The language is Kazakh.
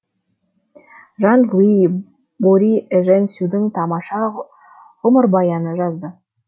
жан луи бори эжен сюдің тамаша ғұмырбаянын жазды